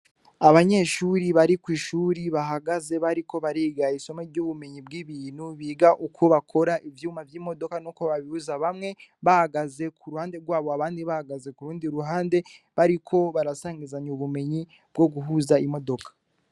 Abanyeshuri bari kw'ishure bahagaze, bariko bariga isomo ry'ubumenyi bw’ibintu. Biga uko bakora ivyuma vy'imodoka, nuko babiguza. Bamwe bahagaze kuruhande rwabo, abandi bahagaze ku rundi ruhande, bariko barasangizanya ubumenyi bwo guhuza imodoka.